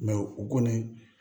u kɔni